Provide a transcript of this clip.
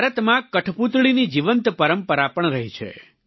ભારતમાં કઠપૂતળીની જીવંત પરંપરા પણ રહી છે